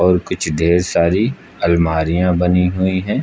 और कुछ ढेर सारी अलमारियां बनी हुई है।